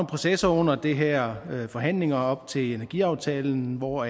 processer under de her forhandlinger op til energiaftalen hvor